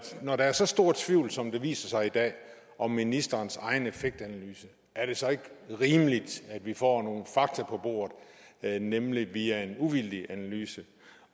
når der er så stor tvivl som det viser sig i dag om ministerens egen effektanalyse er det så ikke rimeligt at vi får nogle fakta på bordet nemlig via en uvildig analyse